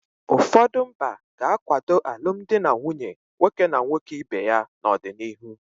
Ụfọdụ mba ga-akwado alụmdi na nwunye nwoke na nwoke ibe ya n'ọdịnihu.